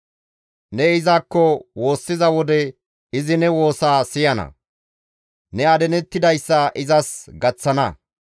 Ne izakko woossiza wode izi ne woosaa siyana; ne adinettidayssa izas gaththana.